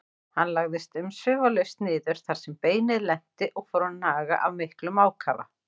Hann lagðist umsvifalaust niður þar sem beinið lenti og fór að naga af miklum ákafa.